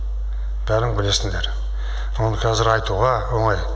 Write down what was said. бәрің білесіңдер оны кәзір айтуға оңай